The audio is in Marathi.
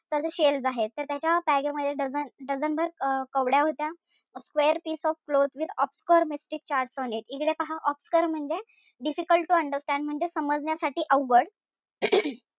तर जे shells आहेत, तर त्याच्या मध्ये dozen भर अं कवड्या होत्या. square piece of cloth with obscure इकडे पहा. obscure म्हणजे difficult to understand म्हणजे समजण्यासाठी अवघड.